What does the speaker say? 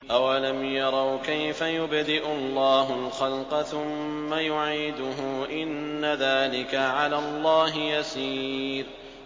أَوَلَمْ يَرَوْا كَيْفَ يُبْدِئُ اللَّهُ الْخَلْقَ ثُمَّ يُعِيدُهُ ۚ إِنَّ ذَٰلِكَ عَلَى اللَّهِ يَسِيرٌ